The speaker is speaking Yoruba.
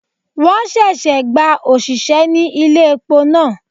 Won ṣẹ̀ṣẹ̀ gba òṣìṣẹ́ ní ilé epo náà.